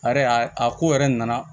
A yɛrɛ a ko yɛrɛ nana